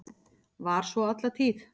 Var svo alla tíð.